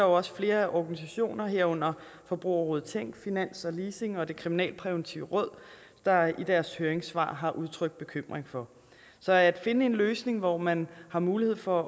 også flere organisationer herunder forbrugerrådet tænk finans og leasing og det kriminalpræventive råd der i deres høringssvar har udtrykt bekymring for så at finde en løsning hvor man har mulighed for